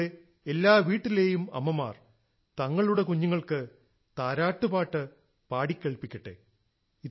അതിലൂടെ എല്ലാ വീട്ടിലേയും അമ്മമാർ തങ്ങളുടെ കുഞ്ഞുങ്ങൾക്ക് താരാട്ടുപാട്ട് പാടി കേൾപ്പിക്കട്ടേ